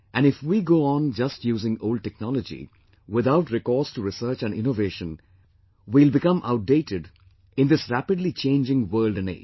And if we go on just using old technology without recourse to research and innovation, we will become outdated in this rapidly changing world and age